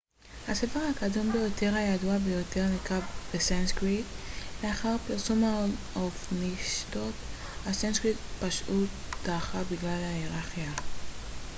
הספר הקדום ביותר הידוע בעולם נכתב בסנסקריט לאחר פרסום האופנישדות הסנסקריט פשוט דעכה בגלל היררכיה